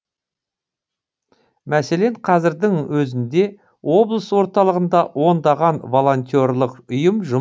мәселен қазірдің өзінде облыс орталығында ондаған волонтерлық ұйым жұмыс істейді